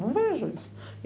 Não vejo.